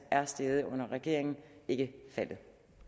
er steget under regeringen ikke faldet